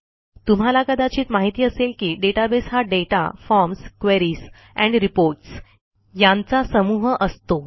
तुम्हाला कदाचित माहिती असेल की डेटाबेस हा data forms queries and reports यांचा समूह असतो